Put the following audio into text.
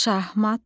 Şahmat.